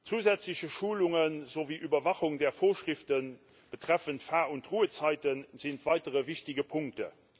Zusätzliche Schulungen sowie Überwachung der Vorschriften betreffend Lenk und Ruhezeiten sind weitere wichtige Punkte.